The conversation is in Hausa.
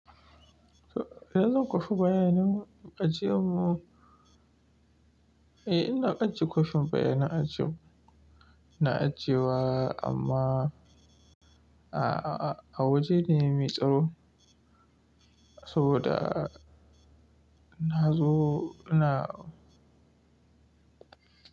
Eh zan kwafi bayanin ajiyan mu. Eh ina ajiye kwafin bayanan ajiye, na ajiye wa amma a, a, a waje ne mai tsaro saboda na zo na.